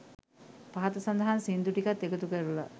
පහත සඳහන් සින්දු ටිකත් එකතු කරලා